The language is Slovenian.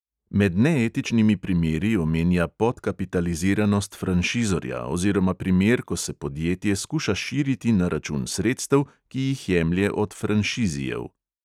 Med neetičnimi primeri omenja podkapitaliziranost franšizorja oziroma primer, ko se podjetje skuša širiti na račun sredstev, ki jih jemlje od franšizijev.